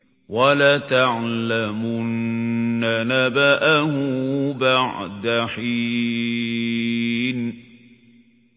وَلَتَعْلَمُنَّ نَبَأَهُ بَعْدَ حِينٍ